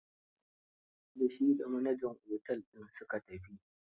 Da shi da manajan otel din su ka tafi.